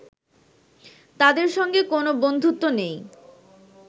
তাদের সঙ্গে কোনো বন্ধুত্ব নেই